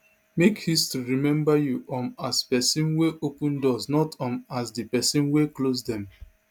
make history remember you um as pesin wey open doors not um as di pesin wey close dem